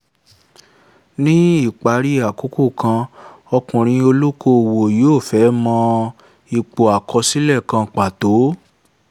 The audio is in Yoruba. ní ìparí àkókò kan ọkùnrin olókòwò yóò fẹ́ mọ ipò àkọsílẹ̀ kan pàtó